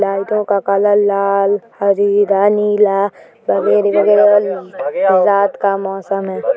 लाइटों का कलर लाल हरी नीला रात का मौसम है।